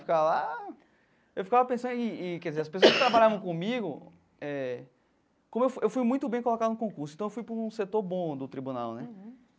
Ficar lá... Eu ficava pensando e e... Quer dizer, as pessoas que trabalharam comigo eh... Como eu fui eu fui muito bem colocado no concurso, então eu fui para um setor bom do tribunal, né?